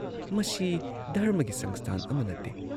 ꯃꯁꯤ ꯙꯔꯝꯃꯒꯤ ꯁꯪꯁꯊꯥꯟ ꯑꯃ ꯅꯠꯇꯦ ꯫